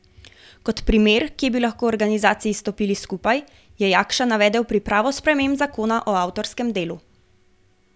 Kot primer, kje bi lahko organizaciji stopili skupaj, je Jakša navedel pripravo sprememb zakona o avtorskem delu.